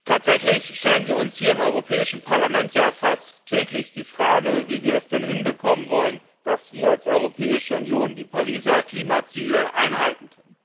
Tatsächlich stellen wir uns hier im Europäischen Parlament ja fast täglich die Frage, wie wir es denn hinbekommen wollen, dass wir als Europäische Union die Pariser Klimaziele einhalten.